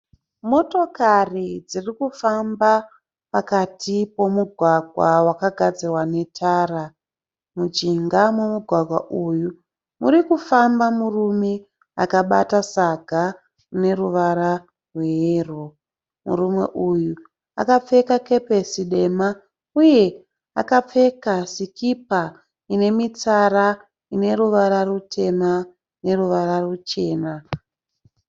Motokari dzirikufamba pakati pomugwaga wakagadzirwa netara. Mujinga momugwagwa uyu murikufamba murume akabata saga rine ruvara rweyero. Murume uyu akapfeka kepesi dema uye akapfeka sikipa ine mitsara ine ruvara rutema neruvara ruchena.